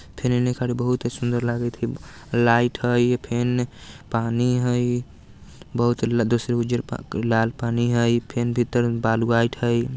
फेर एने खड़े बहुते सुंदर लागत हई लाइट हई फेन एने पानी हई बहुत लद दूसरे उज्जर प लाल पानी हई फेन भीतर बालू आईट हई।